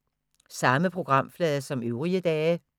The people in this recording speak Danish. Samme programflade som øvrige dage